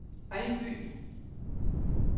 Ejby